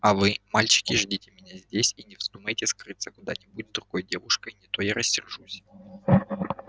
а вы мальчики ждите меня здесь и не вздумайте скрыться куда-нибудь с другой девушкой не то я рассержусь